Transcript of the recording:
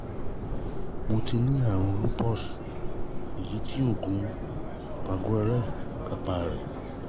Mo ti ní àrùn lupus, èyí tí oògùn palquenal kápá rẹ̀